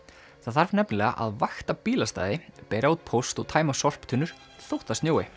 það þarf nefnilega að vakta bílastæði bera út póst og tæma sorptunnur þótt það snjói